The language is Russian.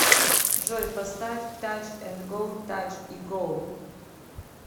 джой поставь тач энд гоу тач и гоу